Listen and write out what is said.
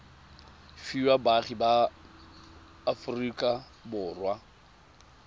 fiwa baagi ba aforika borwa